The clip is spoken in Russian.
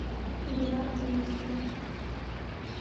гвардейску